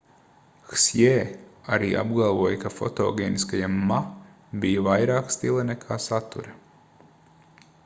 hsjē arī apgalvoja ka fotogēniskajam ma bija vairāk stila nekā satura